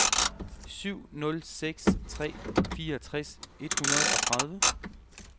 syv nul seks tre fireogtres et hundrede og tredive